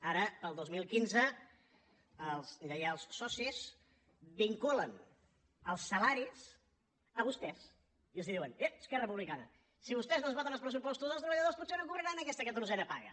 ara per al dos mil quinze els lleials socis vinculen els salaris a vostès i els diuen ep esquerra republicana si vostès no ens voten els pressupostos els treballadors potser no cobraran aquesta catorzena paga